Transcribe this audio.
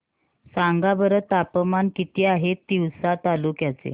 सांगा बरं तापमान किती आहे तिवसा तालुक्या चे